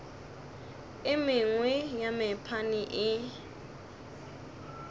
e mengwe ya mephaene e